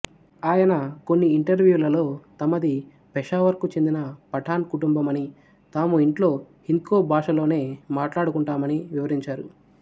ఆయన కొన్ని ఇంటర్వ్యూలలో తమది పెషావర్ కు చెందిన పఠాన్ కుటుంబమనీ తాము ఇంట్లో హింద్కో భాషలోనే మాట్లాడుకుంటామనీ వివరించారు